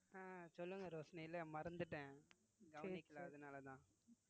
அஹ் சொல்லுங்க ரோஷிணி இல்ல மறந்துட்டேன் கவனிக்கல அதனாலதான்